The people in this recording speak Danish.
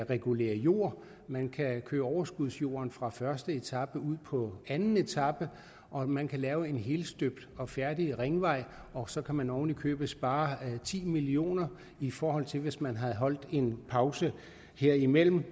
regulere jord man kan køre overskudsjorden fra første etape ud på anden etape og man kan lave en helstøbt og færdig ringvej og så kan man oven i købet spare ti million kr i forhold til hvis man havde holdt en pause herimellem